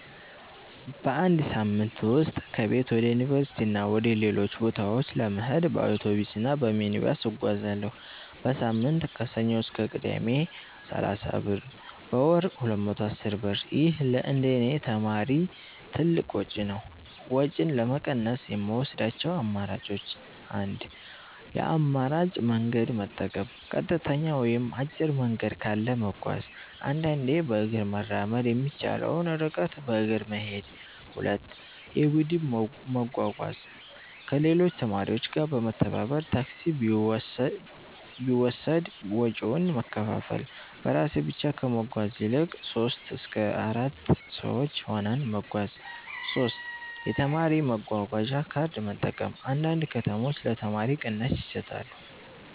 በአንድ ሳምንት ውስጥ ከቤት ወደ ዩኒቨርሲቲ እና ወደ ሌሎች ቦታዎች ለመሄድ በአውቶቡስ እና በሚኒባስ እጓዛለሁ። · በሳምንት (ከሰኞ እስከ ቅዳሜ) = 30 ብር · በወር = 210 ብር ይህ ለእንደኔ ተማሪ ትልቅ ወጪ ነው። ወጪን ለመቀነስ የምወስዳቸው አማራጮች 1. የአማራጭ መንገድ መጠቀም · ቀጥተኛ ወይም አጭር መንገድ ካለ መጓዝ · አንዳንዴ በእግር መራመድ የሚቻለውን ርቀት በእግር መሄድ 2. የቡድን መጓጓዣ · ከሌሎች ተማሪዎች ጋር በመተባበር ታክሲ ቢወሰድ ወጪውን መከፋፈል · በራሴ ብቻ ከመጓዝ ይልቅ 3-4 ሰዎች ሆነን መጓዝ 3. የተማሪ መጓጓዣ ካርድ መጠቀም · አንዳንድ ከተሞች ለተማሪዎች ቅናሽ ይሰጣሉ